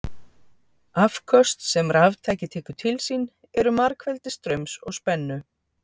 Afköst sem raftæki tekur til sín eru margfeldi straums og spennu.